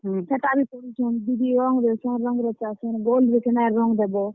ହେଟା ବି କରୁଛନ୍, ଦିଦି ରଂଗ୍ ଦେସନ୍ ରଂଗ୍ ରେଚାସନ୍, ବଲ୍ ନ କେନ୍ତା କରି ରଂଗ୍ ଦେବ।